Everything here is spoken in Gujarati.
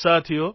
સાથીઓ